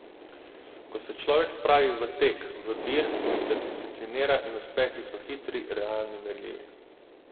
Ko se človek spravi v tek, v dir, se disciplinira in uspehi so hitri, realni, merljivi.